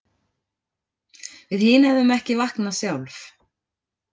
Við hin hefðum ekki vaknað sjálf